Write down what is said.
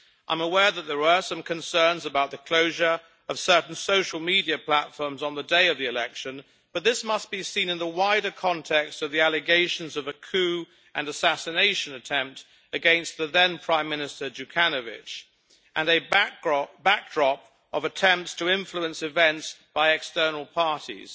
I am aware that there were some concerns about the closure of certain social media platforms on the day of the election, but this must be seen in the wider context of the allegations of a coup and assassination attempt against the then prime minister Đukanović and a backdrop of attempts to influence events by external parties.